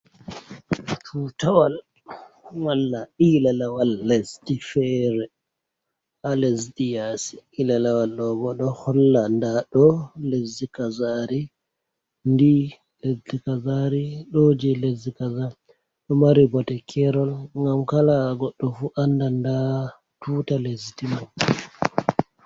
Tutawal walla ilalawal lesdi feere, haa lesdi yaasi. Ilalawal ɗo bo ɗo holla ndaa ɗo lesdi kazari, ndi lesdi kazari ,ɗo jey lesdi kazari. Ɗo mari bote keerol ngam kala goɗɗo fu annda ndaa tuta lesdi man.